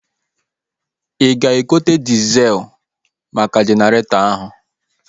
Ị ga-azụta diezel maka Jeneretọ ahu?